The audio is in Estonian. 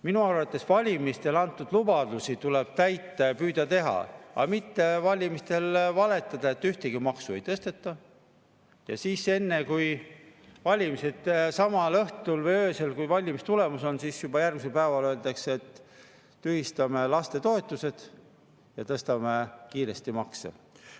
Minu arvates valimistel antud lubadusi tuleb täita ja püüda seda teha, aga mitte valimistel valetada, et ühtegi maksu ei tõsteta, ja siis pärast seda õhtut või ööd, kui valimistulemus on, juba järgmisel päeval öeldakse, et tühistame lastetoetused ja tõstame kiiresti makse.